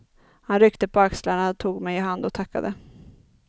Han ryckte på axlarna, tog mig i hand och tackade.